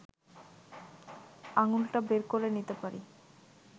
আঙুলটা বের করে নিতে পারি